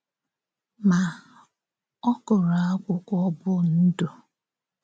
Ma, ọ gụrụ akwụkwọ bụ́ Ndụ.